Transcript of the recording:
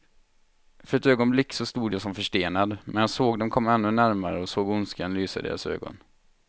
För ett ögonblick stod jag som förstenad, medan jag såg dem komma ännu närmare och såg ondskan lysa i deras ögon.